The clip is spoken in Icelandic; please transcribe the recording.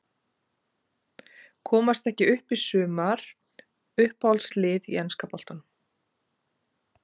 Komast ekki upp í sumar Uppáhalds lið í enska boltanum?